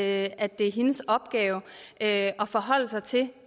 at at det er hendes opgave at forholde sig til